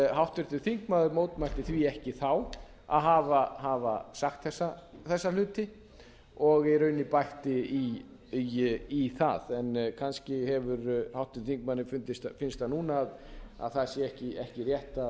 háttvirtur þingmaður mótmælti því ekki þá að hafa sagt þessa hluti og í rauninni bætti í það en kannski hefur háttvirtum þingmanni fundist eða finnst það núna að það sé ekki rétt